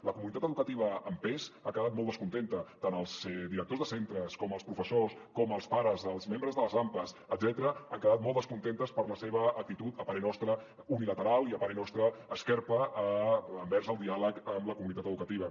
la comunitat educativa en pes ha quedat molt descontenta tant els directors de centres com els professors com els pares els membres de les ampas etcètera han quedat molt descontents per la seva actitud a parer nostre unilateral i a parer nos·tra esquerpa envers el diàleg amb la comunitat educativa